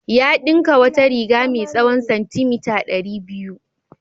Ya ɗinka wata riga mai tsawon santimita ɗari biyu.